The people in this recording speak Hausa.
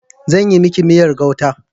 Zan yi miki miyar gauta.